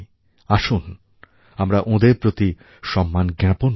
আসুন আমরা ওঁদের প্রতি সম্মান জ্ঞাপন করি